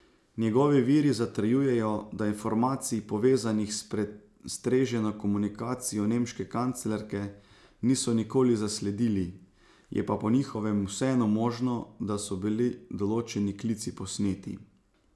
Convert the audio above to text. Njegovi viri zatrjujejo, da informacij, povezanih s prestreženo komunikacijo nemške kanclerke, niso nikoli zasledili, je pa po njihovem vseeno možno, da so bili določeni klici posneti.